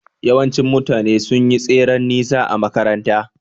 Yawanci mutane sun yi tseren nesa a makaranta